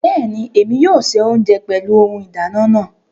Bẹẹni, Èmi yóò ṣe ounjẹ pẹlu ohùn ìdáná naa